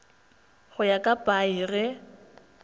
go ya ka paia ge